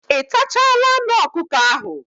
Ị tachala anụ ọkụkọ ahụ?